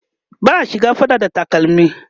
ba'a shiga fada da takalmi